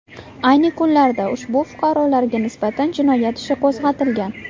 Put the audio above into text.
Ayni kunlarda ushbu fuqarolarga nisbatan jinoyat ishi qo‘zg‘atilgan.